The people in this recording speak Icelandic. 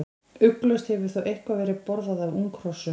Ugglaust hefur þó eitthvað verið borðað af unghrossum.